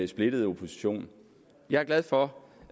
splittet opposition jeg er glad for